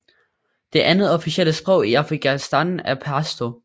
Det andet officielle sprog i Afghanistan er pashto